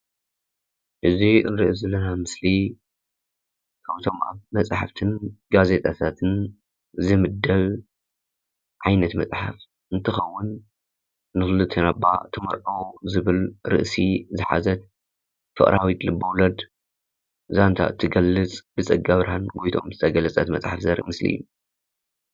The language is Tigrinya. እዚ እንሪኦ ዘለና ምስሊ ኣብቶም መፅሓፍቲ ጋዜጣታትን ዝምደብ ዓይነት መፅሓፍቲ እንትኸውን፤ ንክልቴና እባ ተመርፆ ዝብል ርእሲ ዝሓዘት ፍቅራዊት ልበ፟፟ወለድ ዛንታ እትገልፅ ብፀጋብርሃን ጎይቶኦም ዝተገለፀት መፅሓፍ ዘርኢ ምስሊ እዩ፡፡